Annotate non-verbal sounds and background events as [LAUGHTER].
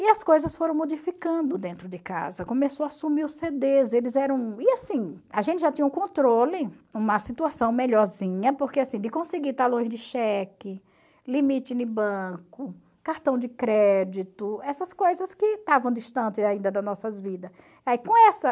E as coisas foram modificando dentro de casa, começou a sumir os cê dês, eles eram... E assim, a gente já tinha um controle, uma situação melhorzinha, porque assim, de conseguir talões de cheque, limite [UNINTELLIGIBLE] banco, cartão de crédito, essas coisas que estavam distantes ainda das nossas vidas. E aí com essa